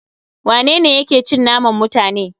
Wanene yake cin naman mutane?